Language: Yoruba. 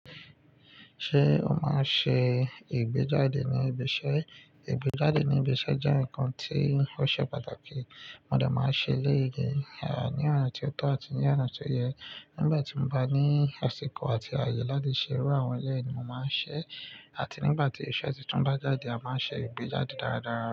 Ṣé o máa ń ṣe ìgbéjáde ní ibi iṣẹ́? Ìgbéjáde ní ibi iṣẹ́ jẹ́ ǹkan tí ó ṣe pàtàkì. Mo de máa ń ṣe eleyi ní ọ̀na ti ó tọ́ àti ní ọ̀na tó yẹ. Nígbà tí mo bá ní àsìkò àti àyè láti ṣe erú àwọn eleyi ni mo máa ń ṣẹ́. Àti nígbà tí iṣẹ́ ti tún dá jáde, a máa ṣe ìgbéjáde dáradára.